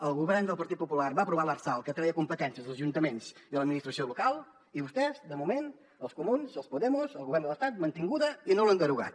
el govern del partit popular va aprovar l’lrsal que treia competències als ajuntaments i a l’administració local i vostès de moment els comuns els podemos el govern de l’estat mantinguda i no l’han derogat